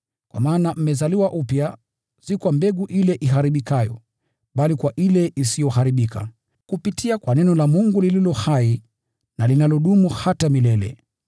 Kwa maana mmezaliwa upya, si kwa mbegu ile iharibikayo, bali kwa ile isiyoharibika, kupitia kwa neno la Mungu lililo hai na linalodumu milele.